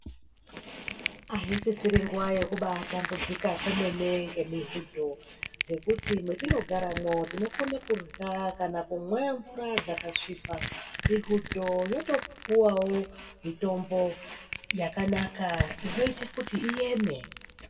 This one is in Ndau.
Asisiri nguwa yekubaatambudzika kwemene ngemihudho ngekuti mwetinogaremwo tinokone kurya kana kumwe mvura dzakasvipa ,mihudho yotopuwawo mitombo yakanaka inoite kuti iyeme.